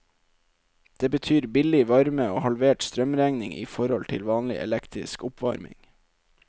Det betyr billig varme og halvert strømregning i forhold til vanlig elektrisk oppvarming.